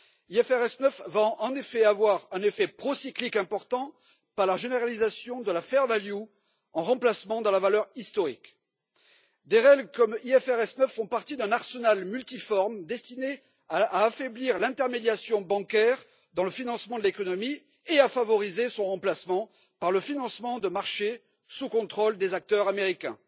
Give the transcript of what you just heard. L'IFRS 9 va, en effet, avoir un effet procyclique important par la généralisation de la juste valeur en remplacement de la valeur historique. Les règles comme IFRS 9 font partie d'un arsenal multiforme destiné à affaiblir l'intermédiation bancaire dans le financement de l'économie et à favoriser son remplacement par le financement de marchés sous le contrôle des acteurs américains.